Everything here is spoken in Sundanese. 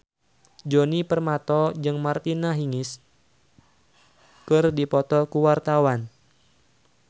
Djoni Permato jeung Martina Hingis keur dipoto ku wartawan